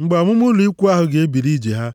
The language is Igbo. Mgbe ọmụma ụlọ ikwu ahụ ga-ebili ije ha,